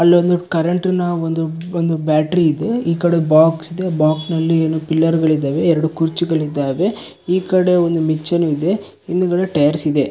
ಅಲ್ಲೊಂದು ಕರೆಂಟಿನ ಒಂದು ಒಂದು ಬ್ಯಾಟ್ರಿ ಇದೆ ಈಕಡೆ ಬಾಕ್ಸ್ ಇದೆ ಬಾಕ್ಸಿ ನಲ್ಲಿ ಏನೊ ಪಿಲ್ಲರ್ಗ ಳಿದಾವೆ ಎರೆಡು ಕುರ್ಚಿಗಳಿದಾವೆ ಈಕಡೆ ಒಂದು ಮಿಚನ್ ಇದೆ ಹಿಂದ್ಗಡೆ ಟೈರ್ಸ್ ಇದೆ .